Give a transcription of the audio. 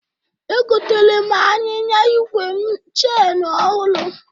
Egotere m anyịnya igwe m cheni ọhụrụ.